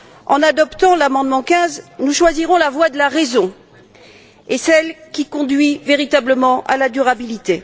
En adoptant l'amendement 15, nous choisirons la voie de la raison et celle qui conduit véritablement à la durabilité.